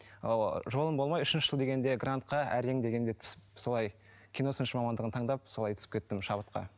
ыыы жолым болмай үшінші жыл дегенде грантқа әрең дегенде түсіп солай киносыншы мамандығын таңдап солай түсіп кеттім шабытқа